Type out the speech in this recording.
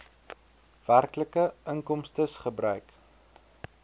werklike inkomstes gebruik